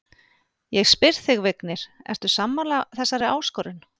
Ég spyr þig, Vignir, ert þú sammála þessari áskorun?